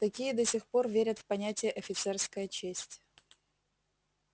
такие до сих пор верят в понятие офицерская честь